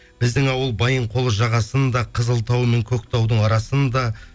біздің ауыл байынқол жағасында қызыл тау мен көк таудың арасында